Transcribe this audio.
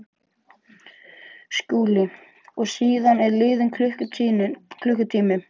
SKÚLI: Og síðan er liðinn klukkutími?